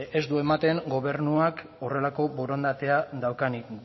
ez du ematen gobernuak horrelako borondatea daukanik